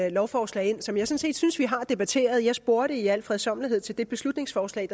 et lovforslag ind som jeg sådan set synes vi har debatteret jeg spurgte i al fredsommelighed til beslutningsforslag